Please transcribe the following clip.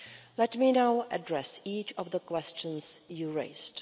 Let me now address each of the questions you raised.